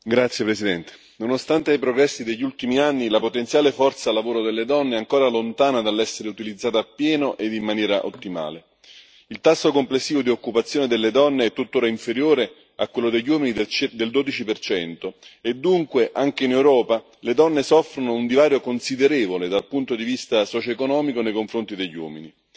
Signora Presidente, onorevoli colleghi, nonostante i progressi degli ultimi anni, la potenziale forza lavoro delle donne è ancora lontana dall'essere utilizzata appieno e in maniera ottimale. Il tasso complessivo di occupazione delle donne è tuttora inferiore a quello degli uomini del 12 e dunque, anche in Europa, le donne soffrono un divario considerevole dal punto di vista socioeconomico nei confronti degli uomini